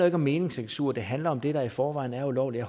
ikke om meningscensur det handler om det der i forvejen er ulovligt